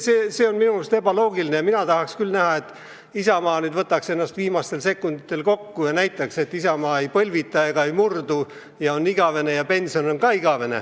Nii et see on minu meelest ebaloogiline ja ma tahaks küll näha, et Isamaa võtab ennast viimastel sekunditel kokku ja näitab, et Isamaa ei põlvita ega ei murdu ja on igavene ja pension on ka igavene.